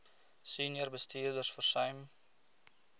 senior bestuurders versuim